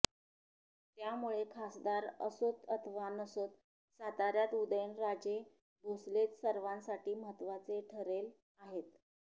त्यामुळे खासदार असोत अथवा नसोत साताऱ्यात उदयनराजे भोसलेच सर्वांसाठी महत्वाचे ठरेल आहेत